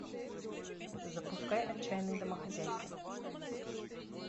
запускай отчаянные домохозяйки